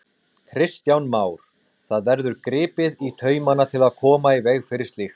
Kristján Már: Það verður gripið í taumana til að koma í veg fyrir slíkt?